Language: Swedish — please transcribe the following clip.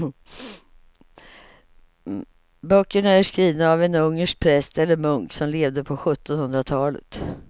Böckerna är skrivna av en ungersk präst eller munk som levde på sjuttonhundratalet.